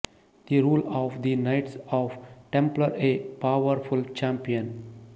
the rule of the knights of Templar a power champion